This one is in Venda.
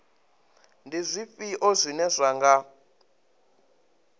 ndi zwifhio zwine zwa nga